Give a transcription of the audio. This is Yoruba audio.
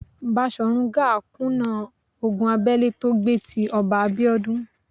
Baṣòrun Gáà kùnà ogun abẹ́lé tó gbé tí Ọba Abíọ́dún.